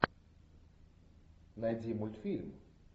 найди мультфильм